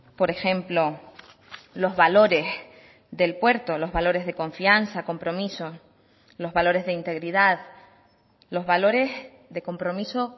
por ejemplo los valores del puerto los valores de confianza compromiso los valores de integridad los valores de compromiso